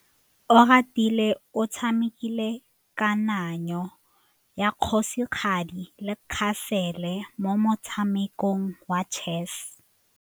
Oratile o tshamekile kananyô ya kgosigadi le khasêlê mo motshamekong wa chess.